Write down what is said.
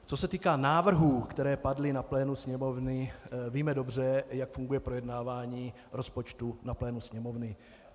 Co se týká návrhů, které padly na plénu Sněmovny, víme dobře, jak funguje projednávání rozpočtu na plénu Sněmovny.